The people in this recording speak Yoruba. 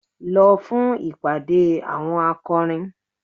Lọ fún ìpàdé àwọn akọrin!